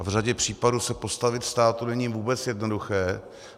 A v řadě případů se postavit státu není vůbec jednoduché.